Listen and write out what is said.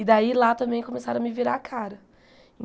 E daí lá também começaram a me virar a cara.